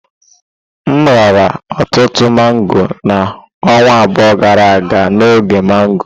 M riri ọtụtụ mango na ọnwa abụọ gara aga n'oge mango.